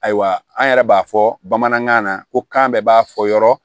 Ayiwa an yɛrɛ b'a fɔ bamanankan na ko kan bɛɛ b'a fɔ yɔrɔ